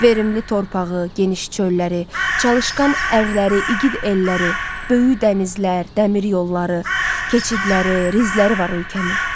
Verimli torpağı, geniş çölləri, çalışqan ərləri, igid elləri, böyük dənizlər, dəmir yolları, keçidləri, rizları var ölkəmin.